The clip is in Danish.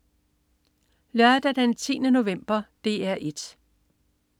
Lørdag den 10. november - DR 1: